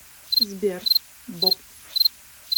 сбер боп